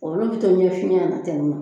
Olu bɛ to ɲɛ finya na ten nɔ